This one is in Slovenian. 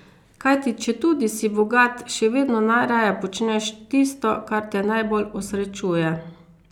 Kajti četudi si bogat, še vedno najraje počneš tisto, kar te najbolj osrečuje.